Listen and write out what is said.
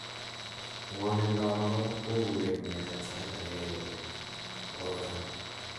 ngwonindo abakora koburei kongeten sait agengei kobakochangaa